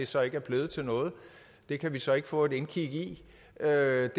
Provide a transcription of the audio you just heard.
så ikke er blevet til noget det kan vi så ikke få et indkig i det er